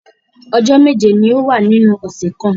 Ọjọ́ méje ni ó wà nínú ọ̀ṣẹ̀ kan